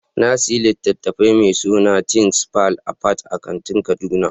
Na sayi littafin mai suna THINGS FALL APART a kantin kaduna.